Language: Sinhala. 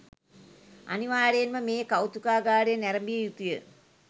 අනිවාර්යයෙන්ම මේ කෞතුකාගාරය නැරඹිය යුතුය